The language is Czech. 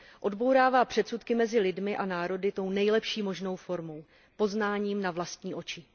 Odbourává předsudky mezi lidmi a národy tou nejlepší možnou formou poznáním na vlastní oči.